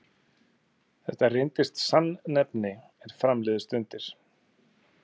Þetta reyndist sannnefni, er fram liðu stundir.